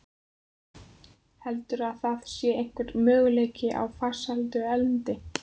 Heldurðu að það sé einhver möguleiki á farsælum endi?